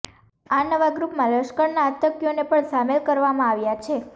આ નવા ગ્રુપમાં લશ્કરના આતંકીઓને પણ શામેલ કરવામાં આવ્યા છે